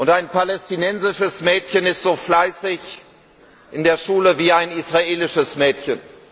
Ein palästinensisches Mädchen ist so fleißig in der Schule wie ein israelisches Mädchen.